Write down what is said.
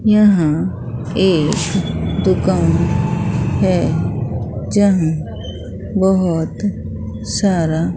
यहां एक दुकान है यहां बहुत सारा--